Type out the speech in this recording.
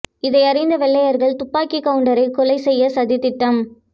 இதையறிந்த வெள்ளையர்கள் துப்பாக்கிக் கவுண்டரை கொலை செய்ய சதி திட்டம்